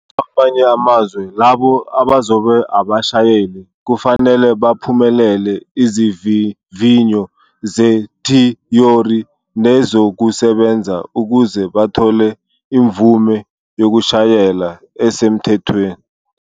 Kwamanye amazwe, labo abazoba abashayeli kufanele baphumelele izivivinyo zethiyori nezokusebenza ukuze bathole imvume yokushayela esemthethweni.